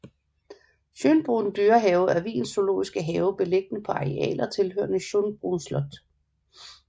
Schönbrunn dyrehave er Wiens zoologiske have beliggende på arealer tilhørende Schönbrunn slot